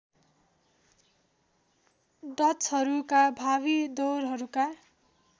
डचहरूका भावी दौरहरूका